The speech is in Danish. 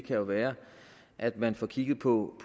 jo være at man får kigget på